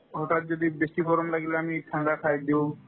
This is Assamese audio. হঠাত যদি বেছি গৰম লাগিলে আমি ঠাণ্ডা খাই দিও